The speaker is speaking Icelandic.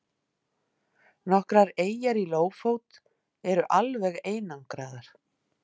Nokkrar eyjar í Lófót eru alveg einangraðar.